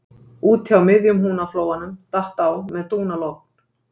Úti á miðjum Húnaflóanum datt á með dúnalogn